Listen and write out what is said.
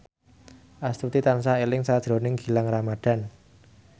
Astuti tansah eling sakjroning Gilang Ramadan